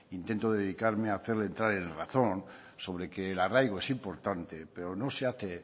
intento dedicarme a hacerle entrar en razón sobre que el arraigo es importante pero no se hace